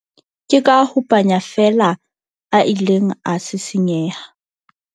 ke ka ho panya feela a ileng a sisinyeha